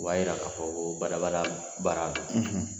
O b'a yira k'a fɔ ko bada-bada baara don.